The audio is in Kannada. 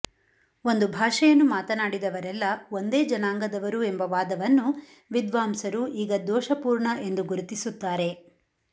ಒಂದು ಭಾಷೆಯನ್ನು ಮಾತನಾಡಿದವರೆಲ್ಲ ಒಂದೇ ಜನಾಂಗದವರು ಎಂಬ ವಾದವನ್ನು ವಿದ್ವಾಂಸರು ಈಗ ದೋಷಪೂರ್ಣ ಎಂದು ಗುರುತಿಸುತ್ತಾರೆ